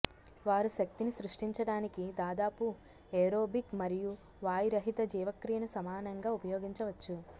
వారు శక్తిని సృష్టించడానికి దాదాపు ఏరోబిక్ మరియు వాయురహిత జీవక్రియను సమానంగా ఉపయోగించవచ్చు